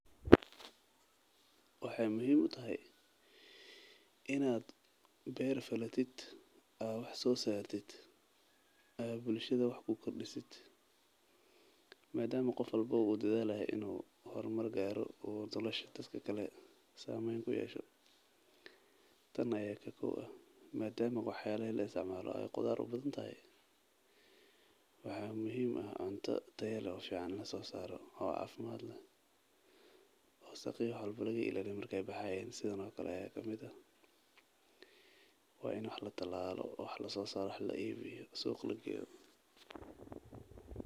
Waxeey muhiim utahay inaad beer falatid aad wax soo saartid aad bulshada wax ku kordiso madama qof walbo uu dadaalayo oo uu rabo inuu bulshada wax kusoo kordiyo waa in wax la talaalalo wax la iibiyo suuqa la geeyo.